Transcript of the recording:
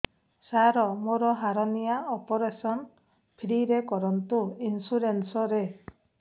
ସାର ମୋର hernia operation free ରେ କରନ୍ତୁ ଇନ୍ସୁରେନ୍ସ ରେ